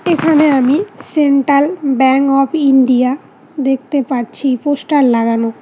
এখানে আমি central bank of India দেখতে পারছি পোস্টার লাগানো।